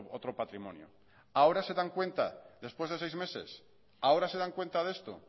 otro patrimonio ahora se dan cuenta después de seis meses ahora se dan cuenta de esto